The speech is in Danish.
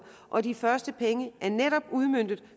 og de første penge er netop udmøntet